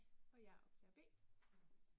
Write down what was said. Og jeg er optager B